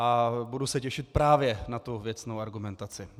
A budu se těšit právě na tu věcnou argumentaci.